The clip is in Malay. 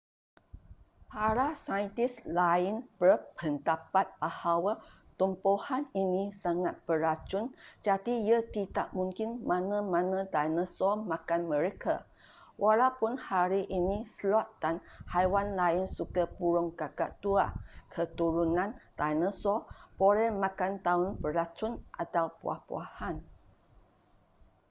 para saintis lain berpendapat bahawa tumbuhan ini sangat beracun jadi ia tidak mungkin mana-mana dinosaur makan mereka walaupun hari ini sloth dan haiwan lain suka burung kakak tua keturunan dinosaur boleh makan daun beracun atau buah-buahan